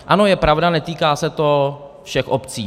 Ano, je pravda, netýká se to všech obcí.